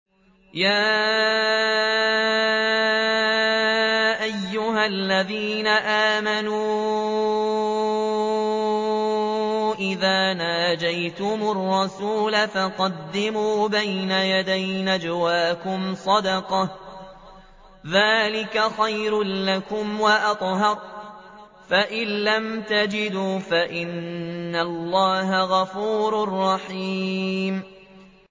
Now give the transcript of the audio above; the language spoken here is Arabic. يَا أَيُّهَا الَّذِينَ آمَنُوا إِذَا نَاجَيْتُمُ الرَّسُولَ فَقَدِّمُوا بَيْنَ يَدَيْ نَجْوَاكُمْ صَدَقَةً ۚ ذَٰلِكَ خَيْرٌ لَّكُمْ وَأَطْهَرُ ۚ فَإِن لَّمْ تَجِدُوا فَإِنَّ اللَّهَ غَفُورٌ رَّحِيمٌ